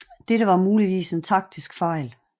Dette var muligvis en taktisk fejl